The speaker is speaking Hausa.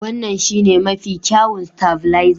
Wannan shine mafi kyawun stavilizer.